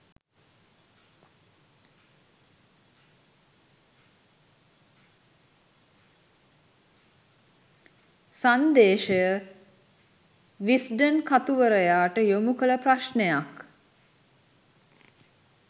සංදේශය Wisden කතුවරයාට යොමු කළ ප්‍රශ්නයක්